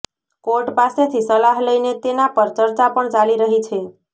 court પાસેથી સલાહ લઇને તેના પર ચર્ચા પણ ચાલી રહી છે